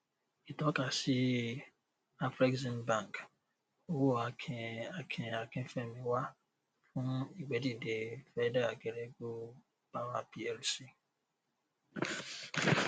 ìtọkasí afreximbank owó akin akin akínfẹmiwá fún ìgbé dìde feda geregu power plc